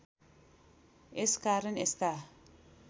यस कारण यस्ता